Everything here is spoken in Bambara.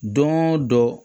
Don o don